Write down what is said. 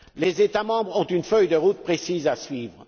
Les États membres ont une feuille de route précise à suivre.